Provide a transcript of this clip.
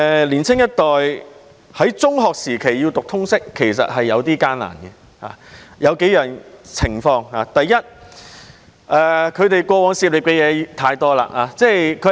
年青一代要在中學時期修讀通識是頗為艱難的，因為要涉獵的範圍太廣泛。